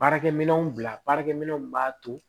Baarakɛminɛnw bila baarakɛminɛnw b'a to